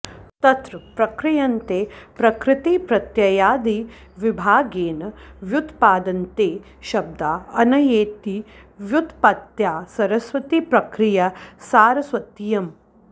तत्र प्रक्रियन्ते प्रकृतिप्रत्ययादिविभागेन व्युत्पाद्यन्ते शब्दा अनयेति व्युत्पत्त्या सरस्वती प्रक्रिया सारस्वतीयं